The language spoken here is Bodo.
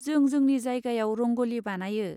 जों जोंनि जायगायाव रंग'लि बानायो।